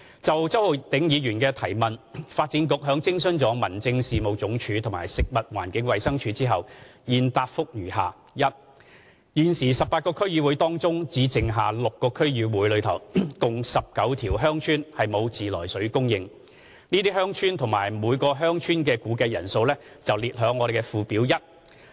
就周浩鼎議員的質詢，發展局在徵詢民政署及食環署後，現答覆如下：一現時 ，18 個區議會當中，只剩下6個區議會內共19條鄉村沒有自來水供應，這些鄉村及每條鄉村的估計人口列於附表一。